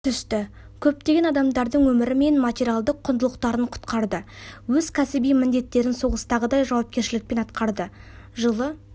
түсті көптеген адамдардың өмірі мен материалдық құндылықтарын құтқарды өз кәсіби міндеттерін соғыстағыдай жауапкершілікпен атқарды жылы